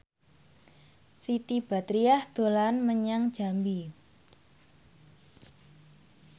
Siti Badriah dolan menyang Jambi